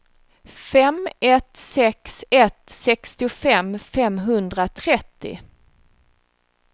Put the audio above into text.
fem ett sex ett sextiofem femhundratrettio